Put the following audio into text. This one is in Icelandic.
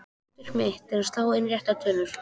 Hlutverk mitt er að slá inn réttar tölur.